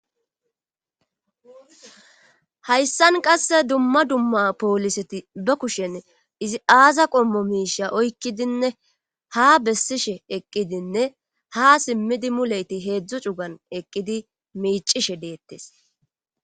hayssan qasse dumma dumma pooliseti ba kushen izi aaza qommo miisha oykkidinne ha bessishe eqqidinne ha simmidi muleyti heedzdzu cugan eqqidi miicishe deettes